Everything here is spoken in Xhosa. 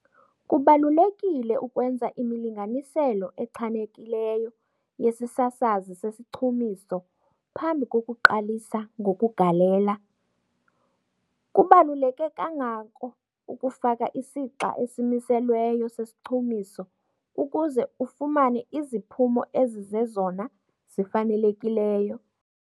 Kubalulekile ukwenza imilinganiselo echanekileyo yesisasazi sesichumiso phambi kokuqalisa ngokugalela. Kubaluleke kangako ukufaka isixa esimiselweyo sesichumiso ukuze ufumane iziphumo ezizezona zifanelekileyo.